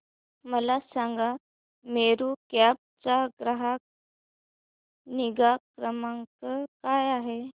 मला सांगा मेरू कॅब चा ग्राहक निगा क्रमांक काय आहे